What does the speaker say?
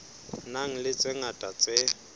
nang le tse ngata tse